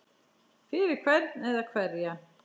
Fyrir hvern eða hverja?